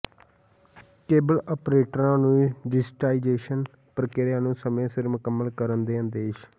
cable ਆਪਰੇਟਰਾਂ ਨੂੰ digitisation ਪ੍ਰਕਿ੍ਆ ਨੂੰ ਸਮੇਂ ਸਿਰ ਮੁਕੰਮਲ ਕਰਨ ਦੇ ਆਦੇਸ਼